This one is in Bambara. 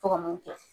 Tɔgɔ mun kɛ